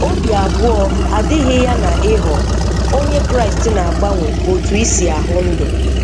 Obi abụọ adịghị ya na ịghọ Onye Kraịst na-agbanwe otú i si ahụ ndụ.